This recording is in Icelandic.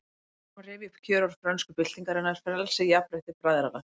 Hér má rifja upp kjörorð frönsku byltingarinnar: Frelsi, jafnrétti, bræðralag